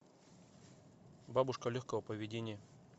бабушка легкого поведения